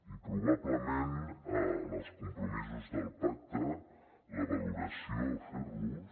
i probablement en els compromisos del pacte la valoració a fer los